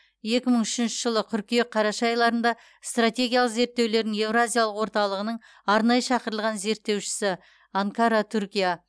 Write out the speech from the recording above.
екі мың үшінші жылы қыркүйек қараша айларында стратегиялық зерттеулердің еуразиялық орталығының арнайы шақырылған зерттеушісі анкара түркия